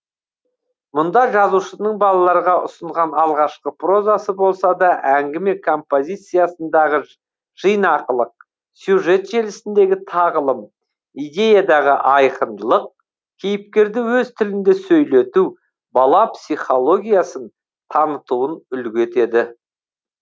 мұнда жазушының балаларға ұсынған алғашқы прозасы болса да әңгіме композициясындағы жинақылық сюжет желісіндегі тағылым идеядағы айқындылық кейіпкерді өз тілінде сөйлету бала психологиясын танытуын үлгі етеді